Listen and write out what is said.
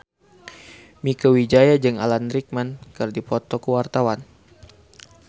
Mieke Wijaya jeung Alan Rickman keur dipoto ku wartawan